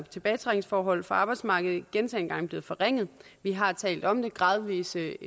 tilbagetrækningsforhold fra arbejdsmarkedet gentagne gange blevet forringet vi har talt om det gradvise